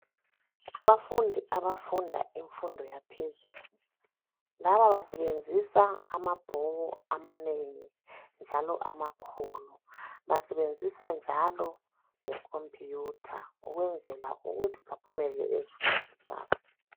Abafundi abafunda imfundo yaphezulu, laba basebenzisa amabhuku amanengi njalo amakhulu. Basebenzisa njalo lekhompiyutha ukwenzela ukuthi baphumelele ezifundweni zabo.